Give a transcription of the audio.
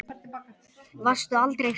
Varstu aldrei hrædd?